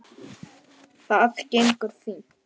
Það gengur fínt